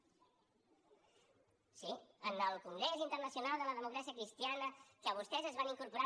sí en el congrés internacional de la democràcia cristiana que vostès es van incorporar